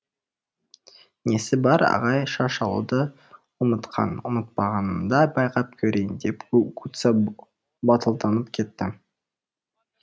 несі бар ағай шаш алуды ұмытқан ұмытпағанымды байқап көрейін деп гугуцэ батылданып кетті